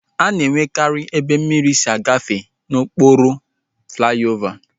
A na-enwekari ebe mmiri si agafe n'okpuru flaiovaa